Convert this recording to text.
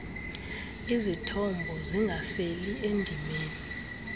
izithombo zingafeli endimeni